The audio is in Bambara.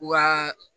Wa